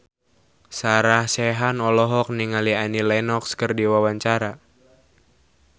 Sarah Sechan olohok ningali Annie Lenox keur diwawancara